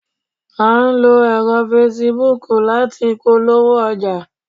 a n lo ẹrọ Facebook lati polowo oja